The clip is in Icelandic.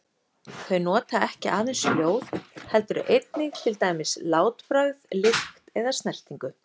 Þau nota ekki aðeins hljóð heldur einnig til dæmis látbragð, lykt eða snertingu.